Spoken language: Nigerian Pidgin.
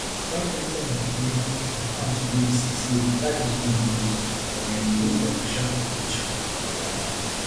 one mtn employee confam to bbc say di charges don increase but dem dey wait for official communication from dia company